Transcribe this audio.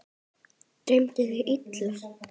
Dreymdi þig illa?